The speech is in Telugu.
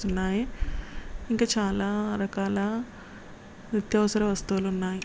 కనిపిస్తునాయి. ఇంక చాలా రకాల నిత్యవసర వస్తువులు ఉన్నా--